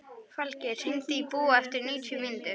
Falgeir, hringdu í Búa eftir níutíu mínútur.